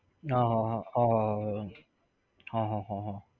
ના આહ હા હા હા હા. હા હા હા